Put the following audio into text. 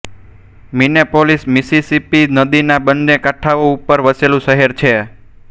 Minneapolis Mississippi નદીના બંને કાંઠાઓ ઉપર વસેલું શહેર છે